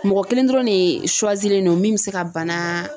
Mɔgɔ kelen dɔrɔn de len don min bɛ se ka bana.